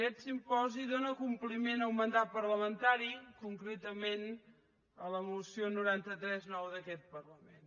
aquest simposi dóna compliment a un mandat parlamentari concretament a la moció noranta tres ix d’aquest parlament